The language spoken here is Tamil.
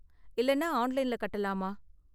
இல்லைன்னா, ஆன்லைன்ல கட்டலாமா?